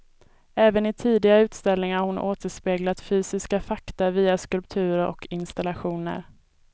Även i tidigare utställningar har hon återspeglat fysiska fakta via skulpturer och installationer.